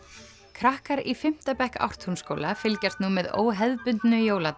krakkar í fimmta bekk Ártúnsskóla fylgjast nú með óhefðbundnu jóladagatali